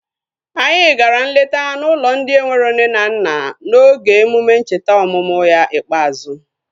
Anyị gara nleta n'ụlọ ndị enwero nne na nna n'oge emume ncheta ọmụmụ ya ikpeazụ